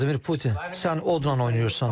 Vladimir Putin, sən odla oynayırsan.